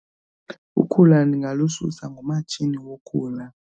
Ukhula ndingalususa ngomatshini wokhula.